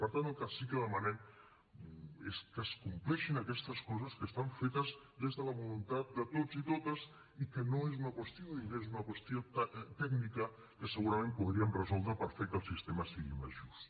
per tant el que sí que demanem és que es compleixin aquestes coses que estan fetes des de la voluntat de tots i totes i que no és una qüestió de diners és una qüestió tècnica que segurament podríem resoldre per fer que el sistema sigui més just